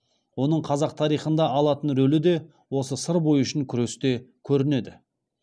оның қазақ тарихында алатын рөлі де осы сыр бойы үшін күресте көрінеді